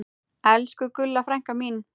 Elsku Gulla frænka mín.